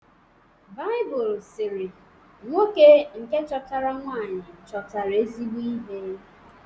Baịbụl sịrị: “Nwoke nke chọtara nwaanyị chọtara ezigbo ihe